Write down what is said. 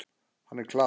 Hann er klár.